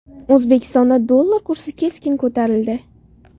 O‘zbekistonda dollar kursi keskin ko‘tarildi .